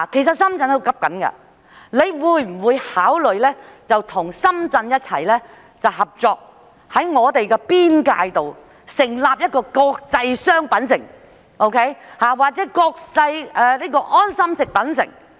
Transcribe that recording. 局長會否考慮與深圳合作，在兩地邊界建設"國際商品城"或"國際安心食品城"？